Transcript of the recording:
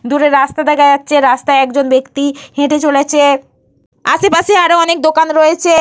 দূরের রাস্তা দেখা যাচ্ছে। রাস্তায় একজন ব্যক্তি হেঁটে চলেছে। আশেপাশে আরো অনেক দোকান রয়েছে।